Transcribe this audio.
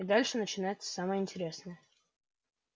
и дальше начинается самое интересное